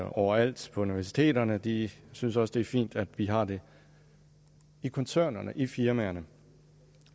overalt på universiteterne de synes også det er fint at vi har det i koncernerne i firmaerne